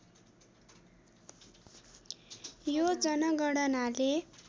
यो जनगणनाले